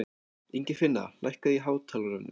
Ingifinna, lækkaðu í hátalaranum.